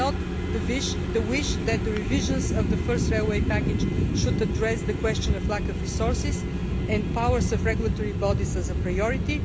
I note the wish that the revisions of the first railway package should address the question of lack of resources and powers of regulatory bodies as a priority.